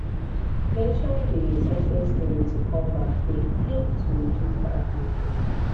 mention dey success story to comeback de help to reduce bad thinking